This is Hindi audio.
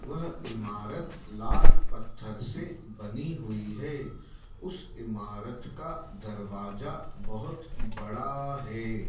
वह इमारत लाल पत्थर से बनी हुई है उस इमारत का दरवाजा बहोत बड़ा है।